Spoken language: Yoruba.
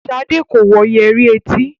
Shade ko wọ Yẹrí et.